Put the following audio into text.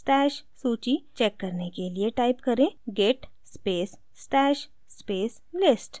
stash सूची check करने के लिए type करें git space stash space list